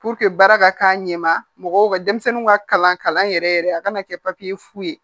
baara ka k'a ɲɛma mɔgɔw ka denmisɛnninw ka kalan kalan yɛrɛ yɛrɛ a kana kɛ fu ye